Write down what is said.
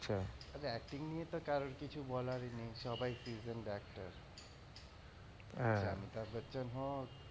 ওদের acting নিয়ে তো কারোর কিছু বলার নেই সবাই decent actor সে অমিতাভ বচ্চন হোক